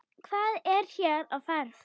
Hvað er hér á ferð?